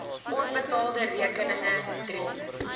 onbetaalde rekeninge drie